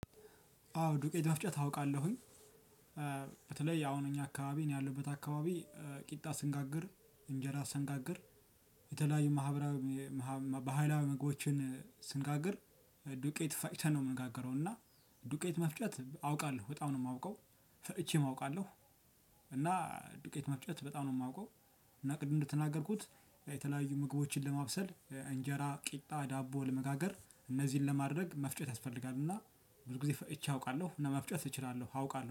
አዎ ዱቄት መፍጨት አውቃለሁኝ። በተለይ አሁን እኛ አካባቢ ነው ያለበት አካባቢ ቂጣ ስንጋግር፣ እንጀራ ስንጋግር፣ የተለያዩ ማህበራዊ ባህላዊ ምግቦችን ስንጋግር ዱቄት ፋጭተን ነው የምንጋገረው እና። ዱቄት መፍጨት አውቃለሁ በጣም ነው የማውቀው ፈጪቼም አውቃለሁ። እና ዱቄት መፍጨት በጣም ነው የማውቀው፣ እና ቅድም እንደተናገርኩት የተለያዩ ምግቦችን ለማብሰል እንጀራ፣ ቂጣ፣ ዳቦ ለመጋገር እነዚህን ለማድረግ መፍጨት ያስፈልጋልና፣ ብዙ ጊዜ ፈጭቼ አውቃለሁ ለመፍጨት እችላለሁ አውቃለሁ።